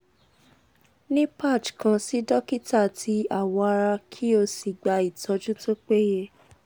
ni patch kan si dokita ti awo ara ki o si gba itoju to peye